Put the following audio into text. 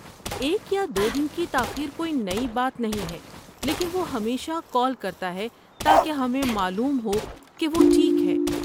ایک یا دو دن کی تاخیر کوئی نئی بات نہیں ہے لیکن وہ ہمیشہ کال کرتا ہے تاکہ ہمیں معلوم ہو کہ وہ ٹھیک ہے۔